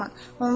Dayılarımın.